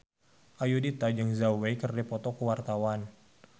Ayudhita jeung Zhao Wei keur dipoto ku wartawan